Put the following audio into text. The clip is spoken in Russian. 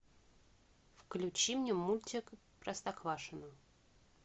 включи мне мультик простоквашино